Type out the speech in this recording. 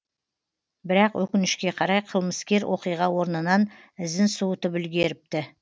бірақ өкінішке қарай қылмыскер оқиға орнынан ізін суытып үлгеріпті